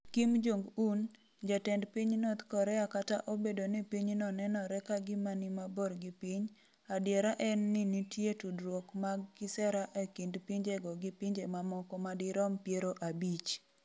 Kim Jong Un, jatend piny North Korea Kata obedo ni pinyno nenore ka gima ni mabor gi piny, adiera en ni nitie tudruok mag kisera e kind pinjego gi pinje mamoko madirom piero abich.